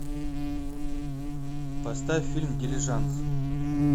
поставь фильм дилижанс